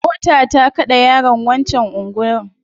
Mota ta kade yaron wancan anguwan